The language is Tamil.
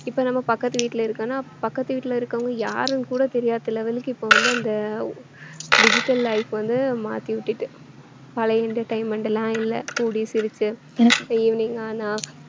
இப்ப நம்ம பக்கத்து வீட்டுல இருக்கோம்னா பக்கத்து வீட்டுல இருக்கறவங்க யாருன்னு கூட தெரியாத level க்கு இப்ப வந்து அந்த ஓ~ digital life வந்து மாத்தி விட்டுட்டு பழைய entertainment லாம் இல்லை கூடி சிரிச்சு evening ஆனா